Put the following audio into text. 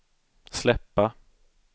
släppa